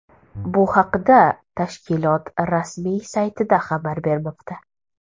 Bu haqida tashkilot rasmiy saytida xabar bermoqda .